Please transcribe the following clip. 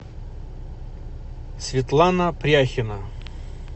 светлана пряхина